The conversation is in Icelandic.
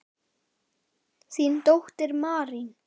Þín dóttir, Marín.